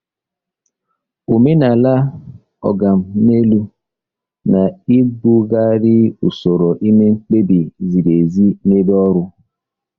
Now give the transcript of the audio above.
Omenala “oga m n'elu” na-egbugharị usoro ime mkpebi ziri ezi n'ebe ọrụ.